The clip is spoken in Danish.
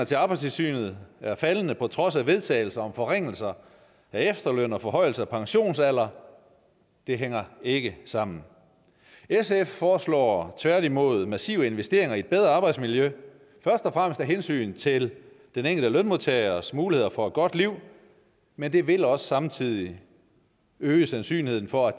til arbejdstilsynet er faldende på trods af vedtagelser om forringelser af efterlønnen og forhøjelse af pensionsalderen det hænger ikke sammen sf foreslår tværtimod massive investeringer i et bedre arbejdsmiljø først og fremmest af hensyn til den enkelte lønmodtagers muligheder for et godt liv men det vil også samtidig øge sandsynligheden for at